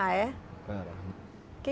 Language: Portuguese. Ah, é? era